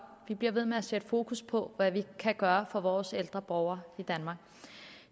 at vi bliver ved med at sætte fokus på hvad vi kan gøre for vores ældre borgere i danmark